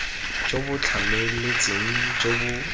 jo bo tlhamaletseng jo bo